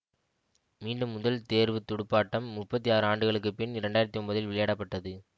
மீண்டும் முதல் தேர்வு துடுப்பாட்டம் முப்பத்தி ஆறு ஆண்டுகளுக்கு பின் இரண்டு ஆயிரத்தி ஒன்பதில் விளையாடப்பட்டது